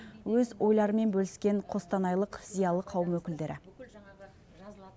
өз ойларымен бөліскен қостанайлық зиялы қауым өкілдері